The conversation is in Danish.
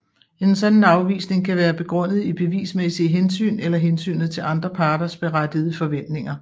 En sådan afvisning kan være begrundet i bevismæssige hensyn eller hensynet til andre parters berettigede forventninger